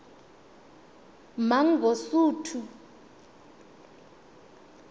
mangosuthu